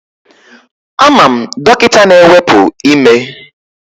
Ama m dọkịta na-ewepu ime